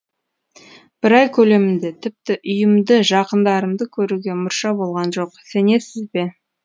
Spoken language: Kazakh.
бір ай көлемінде тіпті үйімді жақындарымды көруге мұрша болған жоқ сенесіз бе